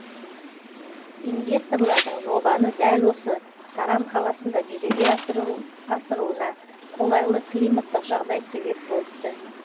инвесторлардың жобаны дәл осы саран қаласында жүзеге асыруына қолайлы климаттық жағдай себеп болыпты